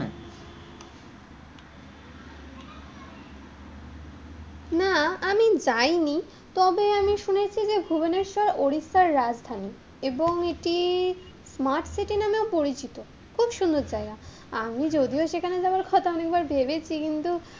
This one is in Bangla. না, আমি যাইনি, তবে আমি শুনেছি যে ভুবনেশ্বর উড়িষ্যার রাজধানী এবং এটি স্মার্ট সিটি নামেও পরিচিত, খুব সুন্দর জায়গা, আমি যদিও সেখানে যাওয়ার কথা অনেকবার ভেবেছি কিন্তু,